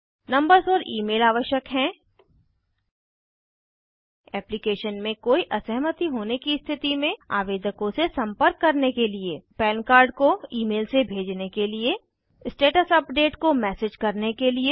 numbers और email आवश्यक हैं एप्लीकेशन में कोई असहमति होने की स्थिति में आवेदकों से संपर्क करने के लिए पन कार्ड को ईमेल से भेजने के लिए स्टेटस अपडेट को मैसेज करने के लिए